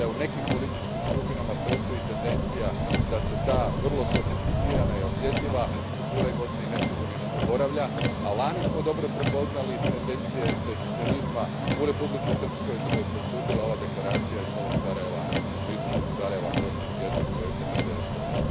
Vidim da u nekim političkim skupinama postoji tendencija da se ta vrlo sofisticirana i osjetljiva struktura Bosne i Hercegovine zaboravlja, a lani smo dobro prepoznali tendencije secesionizma u Republici Srpskoj, što je potvrdila ova deklaracija iz Novog Sarajeva, odnosno istočnog Sarajeva prošlog tjedna koju je SNSD usvojio.